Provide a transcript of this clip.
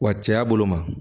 Wa cɛya bolo ma